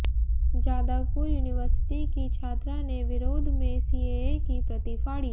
Jadavpur university की छात्रा ने विरोध में सीएए की प्रति फाड़ी